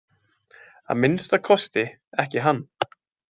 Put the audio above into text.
Að minnsti kosti ekki hann.